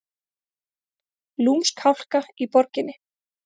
Lúmsk hálka í borginni